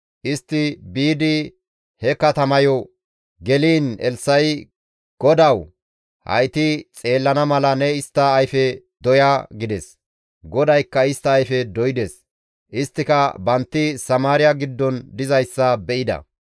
Istti biidi he katamayo geliin Elssa7i «GODAWU! Hayti xeellana mala ne istta ayfe doya» gides. GODAYKKA istta ayfe doydes; isttika bantti Samaariya giddon dizayssa be7ida.